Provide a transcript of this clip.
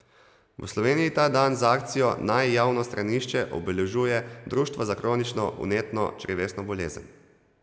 V Sloveniji ta dan z akcijo Naj javno stranišče obeležuje Društvo za kronično vnetno črevesno bolezen.